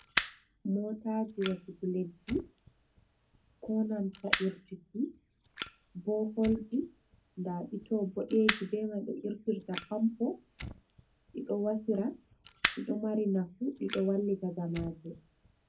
Mootaaji wasuki leddi konanta irtuki boholji, nda ɗi to boɗeeji, be mai ɓe irtirta pampo ɗi ɗo wasira ɗi ɗo mari nafu ɗi ɗo wallita jamaaje.